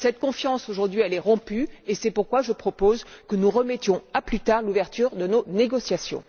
Cette confiance est aujourd'hui rompue, et c'est pourquoi je propose que nous remettions à plus tard l'ouverture de nos négociations.